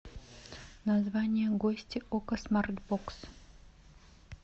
название гости окко смарт бокс